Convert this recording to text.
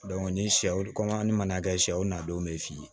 ni sɛw kɔmi an ni manakɛ sɛw n'a denw bɛ f'i ye